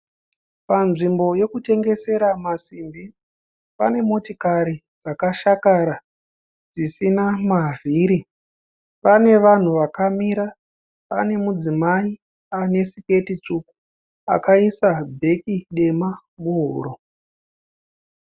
Panzvimbo yekutengesera masimbi pane motikari dzakashakara dzisina mavhiri. Pane vanhu vakamira pane mudzimai ane siketi tsvuku akaisa bheki dema muhuro.